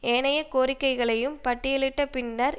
ஏனைய கோரிக்கைகளையும் பட்டியலிட்ட பின்னர்